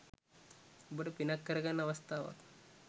ඔබට පිනක් කරගන්න අවස්ථාවක්.